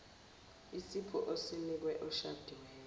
isipho osinike oshadiweyo